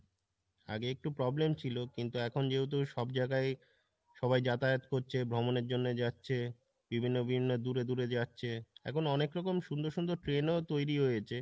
"আগে একটু problem ছিল কিন্তু এখন যেহেতু সব জায়গায় সবাই যাতায়াত করছে ভ্রমণের জন্য যাচ্ছে বিভিন্ন বিভিন্ন দূরে দূরে যাচ্ছে,